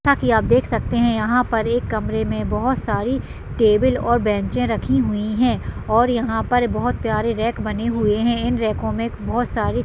जैसा की आप देख सकते हैं यहांँ पर एक कमरे में बहोत सारी टेबल और बेंचें रखी हुई हैं और यहांँ पर बहोत प्यारे रैक बने हुए हैं इन रैकों में बहोत सारे --